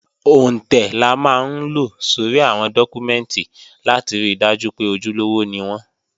Òǹtẹ̀ la máa ń lo sórí àwọn dọ́kúmẹ́ǹtì láti ri dájú pé ojúlówó ni wọ́n